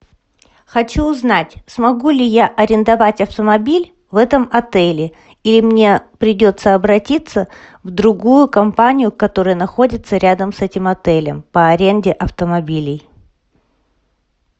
хочу узнать смогу ли я арендовать автомобиль в этом отеле или мне придется обратиться в другую компанию которая находится рядом с этим отелем по аренде автомобилей